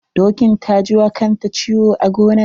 Dokin ta ji wa kanta ciwo a gonan.